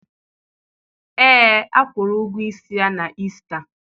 Ee, a kwụrụ ụgwọ isi ya na Ista.